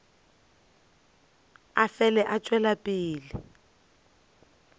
a fele a tšwela pele